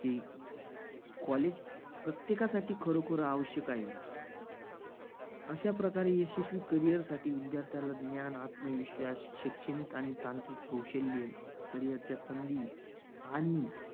ते college प्रत्येकासाठी खरोखर आवश्यक आहे. अशा प्रकारे यशस्वी carrier साठी विद्यार्थ्याला ज्ञान आत्मविश्वास शैक्षणिक आणि तांत्रिक कौशल्य carrier च्या संधी आणि